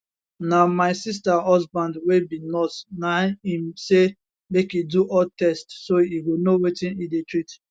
na my sister husband wey be nurse na im say make e do all tests so e go know wetin e dey treat